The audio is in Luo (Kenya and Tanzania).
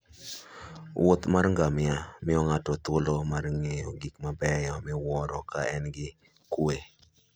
wuoth mar ngamia miyo ng'ato thuolo mar ng'iyo gik mabeyo miwuoro ka en gi kuwe.